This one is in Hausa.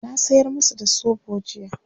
na sayar masu da soɓo jiya